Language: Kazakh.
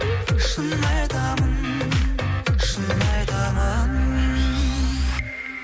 шын айтамын шын айтамын